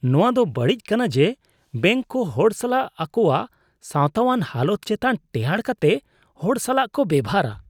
ᱱᱚᱶᱟ ᱫᱚ ᱵᱟᱹᱲᱤᱡ ᱠᱟᱱᱟ ᱡᱮ ᱵᱮᱝᱠ ᱠᱚ ᱦᱚᱲ ᱥᱟᱞᱟᱜ ᱟᱠᱚᱣᱟᱜ ᱥᱟᱶᱛᱟᱣᱟᱱ ᱦᱟᱞᱚᱛ ᱪᱮᱛᱟᱱ ᱴᱮᱦᱟᱸᱰ ᱠᱟᱛᱮᱜ ᱦᱚᱲ ᱥᱟᱞᱟᱜ ᱠᱚ ᱵᱮᱣᱦᱟᱨᱟ ᱾